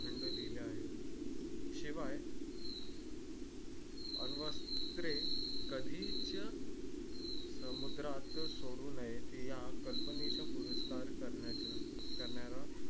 लिहिले आहे शिवाय अंग वस्त्रे कधी च समुद्रात सोडू नये ती या कल्पनेच्या दुरुस्तवर करण्या